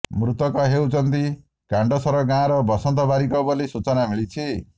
ମୃତକ ହେଉଛନ୍ତି କାଣ୍ଡସର ଗାଁର ବସନ୍ତ ବାରିକ ବୋଲି ସୂଚନା ମିଳିଛି